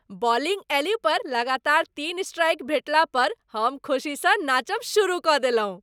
Bowling एली पर लगातार तीन स्ट्राइक भेटला पर हम खुशीसँ नाचब शुरू कऽ देलहुँ।